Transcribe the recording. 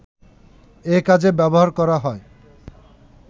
এ কাজে ব্যবহার করা হয়